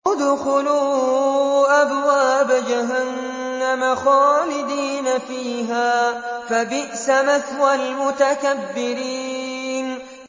ادْخُلُوا أَبْوَابَ جَهَنَّمَ خَالِدِينَ فِيهَا ۖ فَبِئْسَ مَثْوَى الْمُتَكَبِّرِينَ